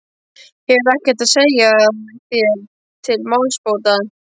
Hefurðu ekkert að segja þér til málsbóta.